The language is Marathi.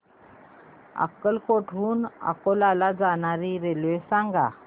अकोट हून अकोला ला जाणारी रेल्वे सांग